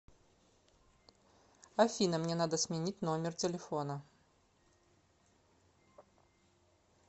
афина мне надо сменить номер телефона